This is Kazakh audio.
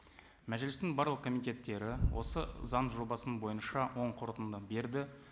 мәжілістің барлық комитеттері осы заң жобасы бойынша оң қорытынды берді